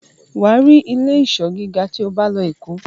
wà á rí ilé-ìsọ́ gíga tí o bá lọ Èkó.